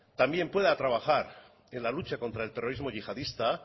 también pueda trabajar en la lucha contra el terrorismo yihadista